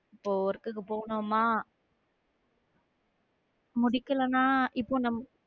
இப்போ work க்கு போனோமா முடிக்கலனா இப்போ நம்ம